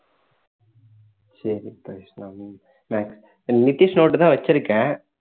சரி பவிஷ் நான் நித்திஷ் note தான் வச்சிருக்கேன்